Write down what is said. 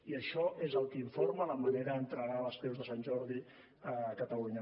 i això és el que informa la manera d’entregar les creus de sant jordi a catalunya